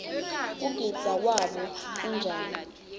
kugidza kwabo kunjani